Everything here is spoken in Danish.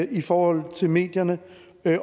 i forhold til medierne